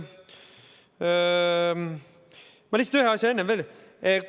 Ma ühe asja lisan enne veel.